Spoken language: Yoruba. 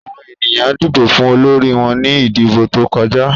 Àwọn ènìyàn dìbò fún olórí wọn ní ìdìbò tó kọjá.